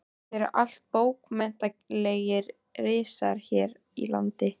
Þetta eru allt bókmenntalegir risar hér í landi.